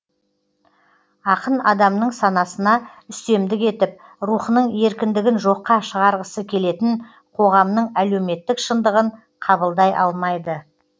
ақын адамның санасына үстемдік етіп рухының еркіндігін жоққа шығарғысы келетін қоғамның әлеуметтік шындығын қабылдай алмайды